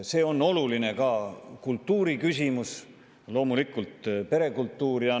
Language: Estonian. See on ka oluline kultuuriküsimus, loomulikult perekultuuri küsimus.